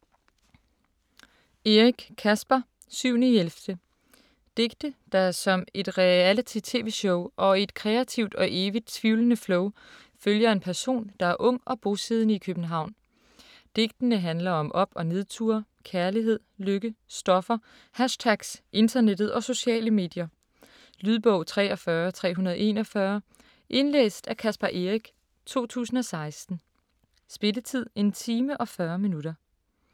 Eric, Caspar: 7/11 Digte der som et reality tv-show, og i et kreativt og evigt tvivlende flow, følger en person der er ung og bosiddende i København. Digtene handler om op- og nedture, kærlighed, lykke, stoffer, hashtags, internettet og sociale medier. Lydbog 43341 Indlæst af Caspar Eric, 2016. Spilletid: 1 time, 40 minutter.